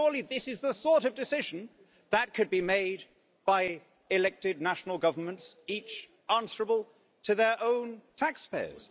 But surely this is the sort of decision that could be made by elected national governments, each answerable to their own taxpayers.